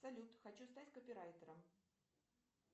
салют хочу стать копирайтером